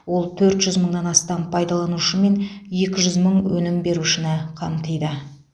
ол төрт жүз мыңнан астам пайдаланушы мен екі жүз мың өнім берушіні қамтиды